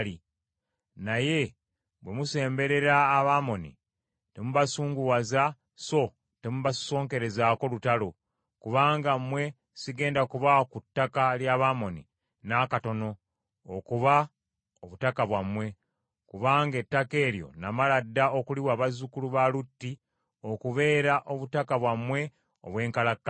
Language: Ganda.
Naye bwe musemberera Abamoni temubasunguwaza so temubasosonkerezaako lutalo, kubanga mmwe sigenda kubawa ku ttaka ly’Abamoni n’akatono okuba obutaka bwammwe, kubanga ettaka eryo namala dda okuliwa bazzukulu ba Lutti okubeera obutaka bwabwe obw’enkalakkalira.”